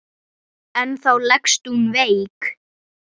En þá leggst hún veik.